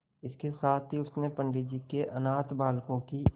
इसके साथ ही उसने पंडित जी के अनाथ बालकों की